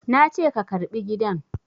Na ce ka karɓi gidan!